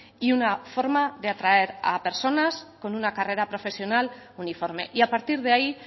y una forma de atraer a personas con una carrera profesional uniforme y a partir de ahí